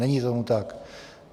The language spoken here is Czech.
Není tomu tak.